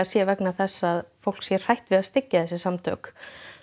sé vegna þess að fólk sé hrætt við að styggja þessi samtök